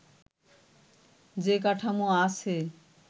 যে কাঠামো আছে